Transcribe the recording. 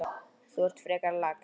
Þú ert frekar lax.